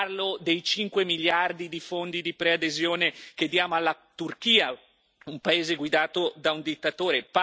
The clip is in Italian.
Parlo dei 5 miliardi di fondi di preadesione che diamo alla Turchia, un paese guidato da un dittatore.